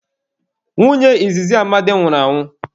Nwunye izizi Amadi nwụrụ anwụ.